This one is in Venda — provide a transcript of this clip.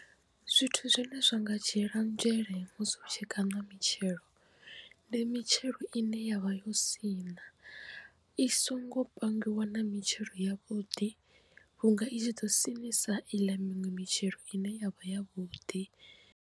Zwithu zwine zwa nga dzhiela nzhele musi u tshi kaṋa mitshelo ndi mitshelo ine yavha yo sina i songo pangiwa na mitshelo ya vhuḓi vhunga i tshi ḓo sinisa iḽa miṅwe mitshelo ine yavha ya vhuḓi.